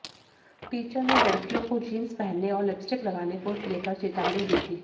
teacher ने लड़कियों को जींस पहनने और लिपस्टिक लगाने को लेकर चेतावनी दी थी